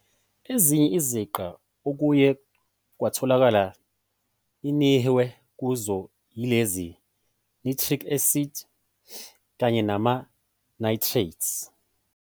Ezinye iziqa okuye kwatholakala inihwe kuzo yilezi- nitric acid, kanye nama nitrates.